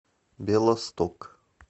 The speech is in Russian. белосток